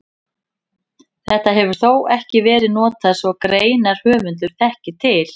Þetta hefur þó ekki verið notað svo greinarhöfundur þekki til.